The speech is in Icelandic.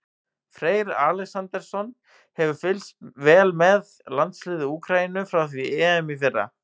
Freyr Alexandersson hefur fylgst vel með landsliði Úkraínu frá því á EM í fyrra.